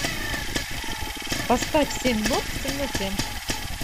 поставь семь нот в темноте